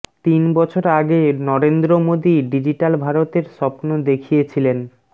তিন বছর আগে নরেন্দ্র মোদী ডিজিটাল ভারতের স্বপ্ন দেখিয়েছিলেন